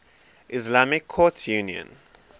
islamic courts union